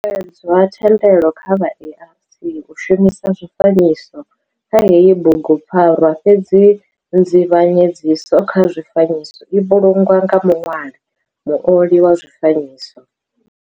Ho netshedzwa thendelo kha vha ARC u shumisa zwifanyiso kha heyi bugu pfarwa fhedzi nzivhanyedziso kha zwifanyiso i vhulungwa nga muṋwali, muoli wa zwifanyiso.